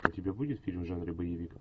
у тебя будет фильм в жанре боевик